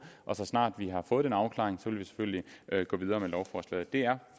så snart vi har fået den afklaring vil vi selvfølgelig gå videre med lovforslaget det er